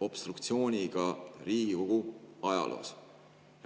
obstruktsiooniga Riigikogu ajaloos.